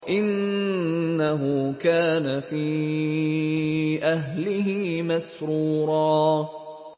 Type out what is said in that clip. إِنَّهُ كَانَ فِي أَهْلِهِ مَسْرُورًا